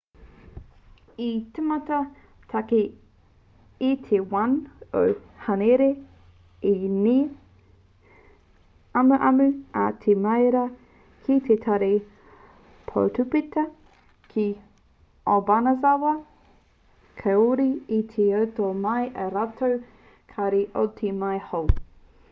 i tīmata take i te 1 o hānuere i ngā amuamu a te marea ki te tari poutāpeta ki obanazawa kāore i rito mai ā rātou kāri mō te tau hou